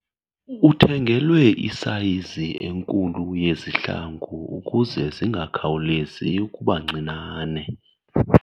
Uthengelwe isayizi enkulu yezihlangu ukuze zingakhawulezi ukuba ncinane.